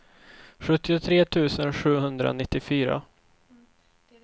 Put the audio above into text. sjuttiotre tusen sjuhundranittiofyra